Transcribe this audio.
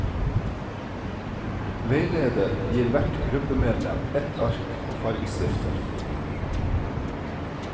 Veileder gir hvert gruppemedlem et ark og fargestifter.